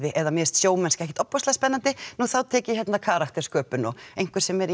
eða mér finnst sjómennska ekkert ofboðslega spenanndi þá tek ég hérna karakter sköpun og einhver sem er í